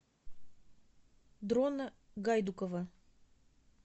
дрона гайдукова